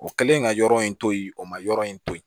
O kɛlen ka yɔrɔ in to yen o ma yɔrɔ in to yen